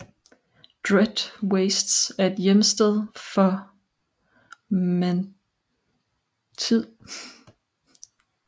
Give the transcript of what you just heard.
Dread Wastes er hjemsted for Mantid